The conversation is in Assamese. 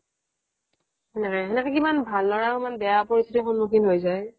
সেনেকৈ সেনেকৈ কিমান ভাল ল'ৰাও বেয়া পৰিস্থিতিৰ সন্মুখীন হৈ যায়